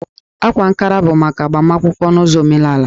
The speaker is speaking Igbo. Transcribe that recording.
Ákwá Ankara bụ maka agbamakwụkwọ n'ụzọ omenaalaya